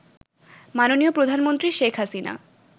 মাননীয় প্রধানমন্ত্রী শেখ হাসিনা